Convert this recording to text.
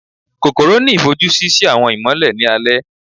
kòkorò ni ifojusi si awọn imọlẹ ni alẹ.